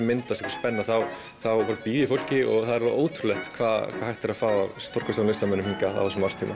spenna þá býð ég fólki og það er ótrúlegt hvað er hægt að fá að stórkostlegum listamönnum hingað á þessum árstíma